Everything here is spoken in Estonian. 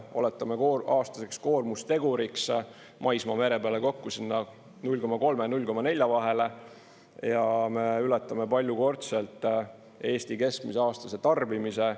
Oletame aastase koormusteguri maismaa ja mere peale kokku 0,3–0,4 vahele ja me ületame paljukordselt Eesti keskmise aastase tarbimise.